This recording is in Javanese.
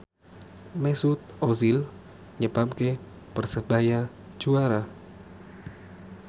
Mesut Ozil nyebabke Persebaya juara